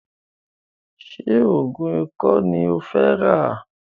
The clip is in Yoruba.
Ṣé oògùn ikọ́ ní o fẹ́ rà?